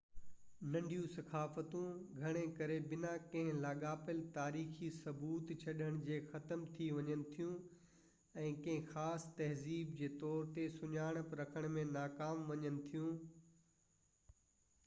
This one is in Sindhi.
ننڍيون ثقافتون گهڻو ڪري بنا ڪنهن لاڳاپيل تاريخي ثبوت ڇڏڻ جي ختم ٿي وڃن ٿيون ۽ ڪنهن خاص تهذيب جي طور تي سڃاڻپ رکڻ ۾ ناڪام وڃن ٿيون